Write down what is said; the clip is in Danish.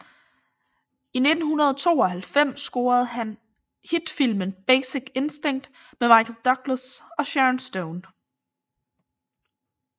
I 1992 scorede han hit filmen Basic Instinct med Michael Douglas og Sharon Stone